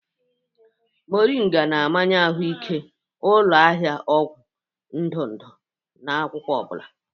Moringa na-amanye ahụike, ụlọ ahịa ọgwụ ndụ ndụ na akwụkwọ ọ bụla.